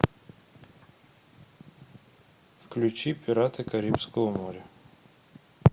включи пираты карибского моря